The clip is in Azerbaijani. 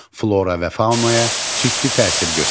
Flora və faunaya ciddi təsir göstərir.